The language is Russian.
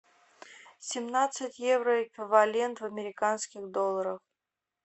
семнадцать евро эквивалент в американских долларах